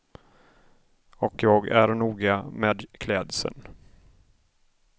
Och jag är noga med klädslen.